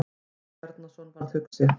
Jón Bjarnason varð hugsi.